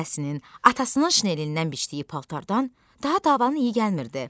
Nənəsinin, atasının şinelindən biçdiyi paltardan daha davanın iyi gəlmirdi.